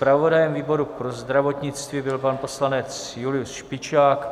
Zpravodajem výboru pro zdravotnictví byl pan poslanec Julius Špičák.